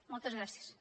moltes gràcies